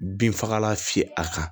Bin fagalan fiyɛ a kan